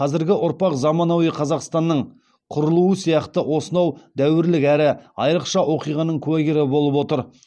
қазіргі ұрпақ заманауи қазақстанның құрылуы сияқты осынау дәуірлік әрі айырықша оқиғаның куәгері болып отыр